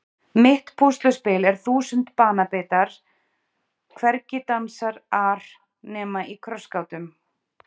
Mitt púsluspil er þúsund banabitar hvergi dansar ar nema í krossgátum